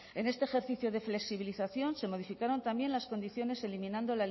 en este ejercicio de flexibilización se modificaron también las condiciones eliminando